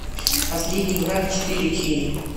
последний враг четыре кей